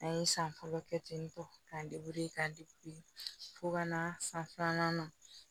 An ye san fɔlɔ kɛ ten tɔ k'a ka fo ka na san filanan na